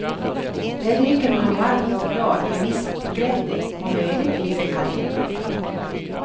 Där dricker man varm choklad med vispgrädde och möjligtvis en kanelbulle.